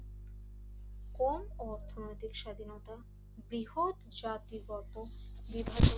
কম অর্থনৈতিক স্বাধীনতা বৃহৎ জাতিগত বিভাজন